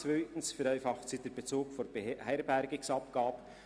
Zweitens vereinfacht sie den Bezug der Beherbergungsabgabe.